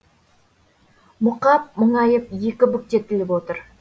мұқап мұңайып екі бүктетіліп отыр